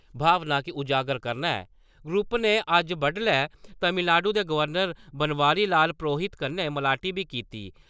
भावना गी उजागर करना ऐ ग्रुप ने अज्ज बड्डलै तमिलनाडू दे गवर्नर बनवारी लाल प्रोहित कन्नै मलाटी बी कीती।